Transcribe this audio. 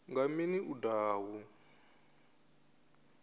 nga mini u daha hu